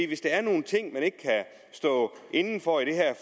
hvis der er nogle ting man ikke kan stå inde for i det her